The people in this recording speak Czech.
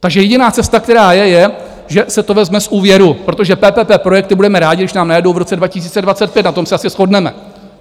takže jediná cesta, která je, je, že se to vezme z úvěru, protože PPP projekty budeme rádi, když nám najedou v roce 2025, na tom se asi shodneme.